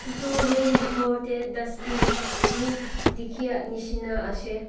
etu room bethor te dustbin bhi dekhi nisna ase.